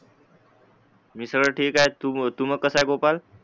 मी सगळं ठीक ए तू कसा गोपाळ